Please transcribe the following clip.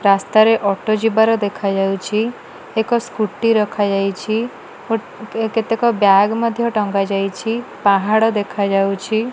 ରାସ୍ତା ରେ ଅଟୋ ଯିବାର ଦେଖା ଯାଉଚି ଏକ ସ୍କୁଟି ରଖା ଯାଇଛି ଗୋଟେ କେତେକ ବ୍ୟାଗ ମଧ୍ୟ ଟଙ୍ଗା ଯାଇଛି ପାହାଡ଼ ଦେଖାଯାଉଛି।